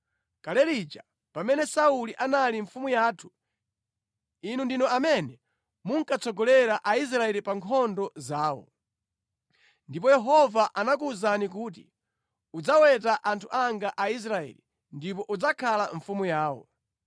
Kale lija, pamene Sauli anali mfumu yathu, inu ndinu amene munkatsogolera Aisraeli pa nkhondo zawo. Ndipo Yehova anakuwuzani kuti, ‘Udzaweta anthu anga Aisraeli, ndipo udzakhala mfumu yawo.’ ”